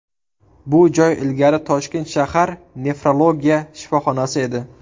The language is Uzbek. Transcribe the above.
Bu joy ilgari Toshkent shahar nefrologiya shifoxonasi edi.